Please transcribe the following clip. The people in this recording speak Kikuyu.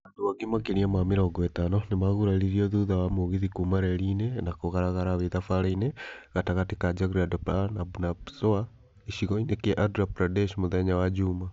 Andũ angĩ makĩria ma mĩrongo ĩtano nĩmaguraririo thutha wa mũgithi kuma reri-inĩ na kũgaragara wĩ thabarĩ-inĩ gatagati ka Jagdalpur na Bhubaneswar gĩcigo-inĩ kĩa Andra Pradesh mũthenya wa juma.